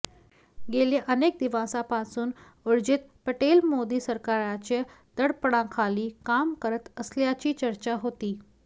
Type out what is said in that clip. गेल्या अनेक दिवसांपासून उर्जित पटेल मोदी सरकारच्या दडपणाखाली काम करत असल्याची चर्चा होती